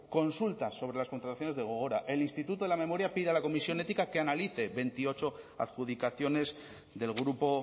consulta sobre las contrataciones de gogora el instituto de la memoria pide a la comisión ética que analice veintiocho adjudicaciones del grupo